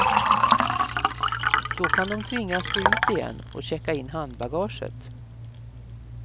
Då kan de tvingas gå ut igen och checka in handbagaget.